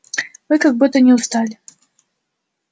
вы как будто не устали